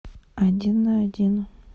один на один